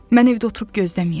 Mən evdə oturub gözləməyəcəm.